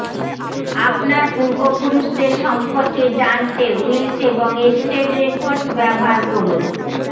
আপনার পূর্বপুরুষদের সম্পর্কে জানতে উইলস এবং এস্টেট রেকর্ডস ব্যবহার করুন